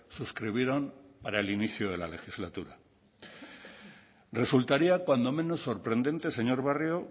suscribieron para el inicio de la legislatura resultaría cuando menos sorprendente señor barrio